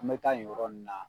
An bɛ taa nin yɔrɔ nun na.